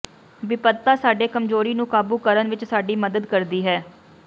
ਬਿਪਤਾ ਸਾਡੇ ਕਮਜ਼ੋਰੀ ਨੂੰ ਕਾਬੂ ਕਰਨ ਵਿਚ ਸਾਡੀ ਮਦਦ ਕਰਦੀ ਹੈ